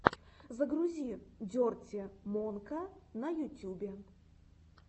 загрузи дерти монка на ютюбе